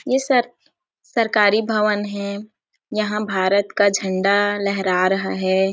ये सब सरकारी भवन हे यहाँ भारत का झंडा लहरा रहा हैं।